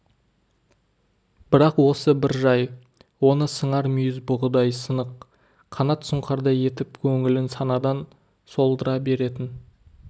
бірақ осы бір жай оны сыңар мүйіз бұғыдай сынық қанат сұңқардай етіп көңілін санадан солдыра беретін